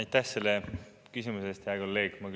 Aitäh selle küsimuse eest, hea kolleeg!